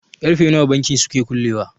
karfe nawa bankin suke kullewa?